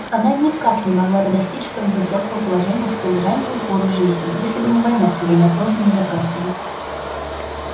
она никак не могла бы достичь столь высокого положения в столь раннюю пору жизни если бы не война с её неотложными запросами